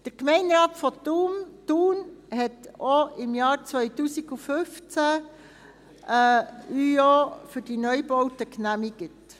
Der Gemeinderat von Thun hatte die ÜO für die Neubauten denn auch im Jahr 2015 genehmigt.